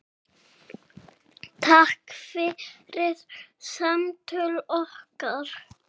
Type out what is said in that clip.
Takk fyrir samtöl okkar.